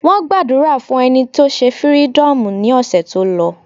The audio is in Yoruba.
Wọ́n gbàdúrà fún ẹni tó se fírídọ̀mù ní ọ̀sẹ̀ tó lọ.